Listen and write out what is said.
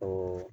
O